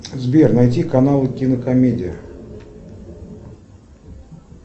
сбер найди канал кинокомедия